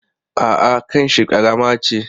A'a, kanshi ƙarama ce.